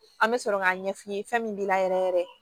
An bɛ sɔrɔ k'a ɲɛfɔ i ye fɛn min b'i la yɛrɛ yɛrɛ